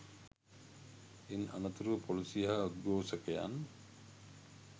ඉන් අනතුරව පොලිසිය හා උද්ගෝෂකයන්